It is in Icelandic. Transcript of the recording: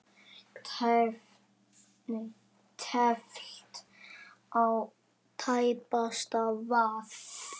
Teflt á tæpasta vað.